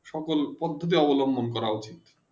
সকল পদ্ধিতি অবলুমন করা উচিত